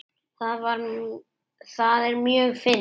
Það er mjög fyndið.